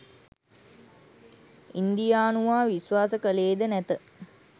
ඉන්දියානුවා විශ්වාස කළේද නැත